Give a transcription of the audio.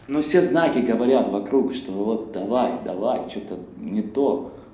ну всё знаки говорят вокруг что вот давай давай что-то не то